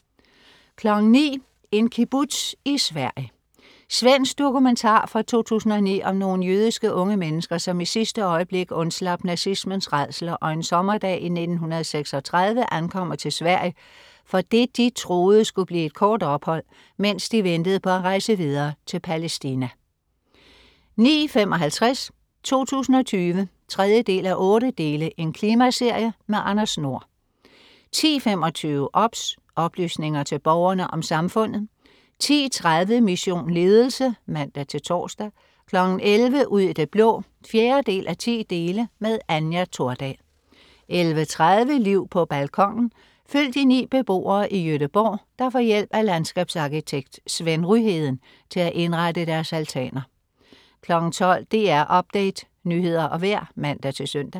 09.00 En kibbutz i Sverige. Svensk dokumentar fra 2009 om nogle jødiske unge mennesker, som i sidste øjeblik undslap nazismens rædsler og en sommerdag i 1936 ankommer til Sverige for det de troede skulle blive et kort ophold, mens de ventede på at rejse videre til Palæstina 09.55 2020 3:8. Klimaserie. Anders Nord 10.25 OBS. Oplysningerne til Borgerne om Samfundet 10.30 Mission Ledelse (man-tors) 11.00 Ud i det blå 4:10. Anja Thordal 11.30 Liv på balkonen. Følg de ni beboere i Göteborg, der får hjælp af landskabsarkitekt Sven Ryheden til at indrette deres altaner 12.00 DR Update. Nyheder og vejr (man-søn)